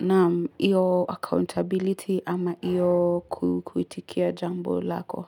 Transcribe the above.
Naam, iyo accountability ama iyo kuitikia jambo lako.